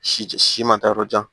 Si si ma taa yɔrɔ jan